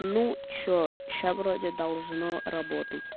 ну че сейчас вроде должно работать